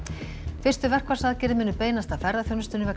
fyrstu verkfallsaðgerðir munu beinast að ferðaþjónustunni vegna